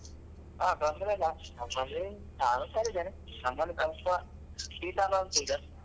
ಹಾ ತೊಂದ್ರೆ ಇಲ್ಲ ನಮ್ಮಲ್ಲಿ ನಾನ್ ಹುಷಾರಿದ್ದೇನೆ ನಮ್ಮಲ್ಲಿ ಸ್ವಲ್ಪ ಶೀತ ಎಲ್ಲ ಉಂಟು ಈಗ.